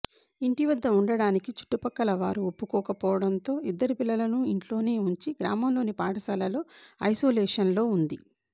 ఇంటి వద్ద ఉండటానికి చుట్టుపక్కల వారు ఒప్పుకోకపోవడంతో ఇద్దరు పిల్లలను ఇంట్లోనే ఉంచి గ్రామంలోని పాఠశాలలో ఐసోలేషన్లో ఉంది